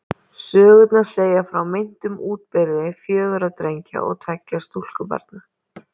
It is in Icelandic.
Sögurnar segja frá meintum útburði fjögurra drengja og tveggja stúlkubarna.